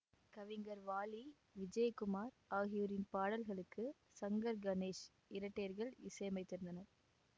கவிஞர் வாலி விஜயகுமார் ஆகியோரின் பாடல்களுக்கு சங்கர்கணேஷ் இரட்டையர்கள் இசையமைத்திருந்தனர்